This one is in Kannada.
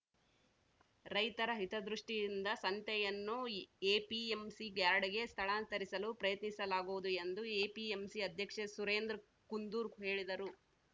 ರೈತರ ಹಿತದೃಷ್ಟಿಯಿಂದ ಸಂತೆಯನ್ನು ಎಪಿಎಂಸಿ ಯಾರ್ಡ್‌ಗೆ ಸ್ಥಳಾಂತರಿಸಲು ಪ್ರಯತ್ನಿಸಲಾಗುವುದು ಎಂದು ಎಪಿಎಂಸಿ ಅಧ್ಯಕ್ಷ ಸುರೇಂದ್ರ್ ಕುಂದೂರು ಹೇಳಿದರು